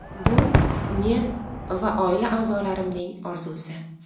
Bu men va oila a’zolarimning orzusi.